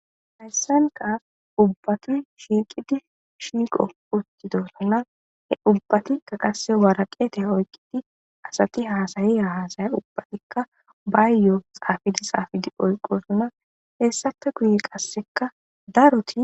Hayisanikka ubbati shiqido shiqini dosona he ubbatikka qasi waraqita oyikkidi asati hasaiya hasakka ubbatikka bayiyo xafidi oyikisona hesappe guye qasekka daro